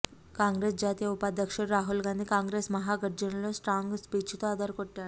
కాంగ్రెస్ జాతీయ ఉపాధ్యక్షుడు రాహుల్ గాంధీ కాంగ్రెస్ మాహాగర్జనలో స్ట్రాంగ్ స్పీచ్ తో అదరగొట్టారు